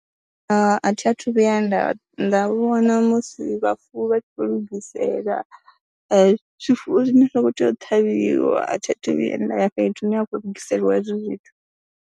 A thi a thu vhuya nda nda vhona musi vhafuwi vha tshi khou lugisela zwifuwo zwine zwa khou tea u ṱhavhiwa, a thi a thu vhuya nda ya fhethu hune a khou lugiselwa hezwo zwithu.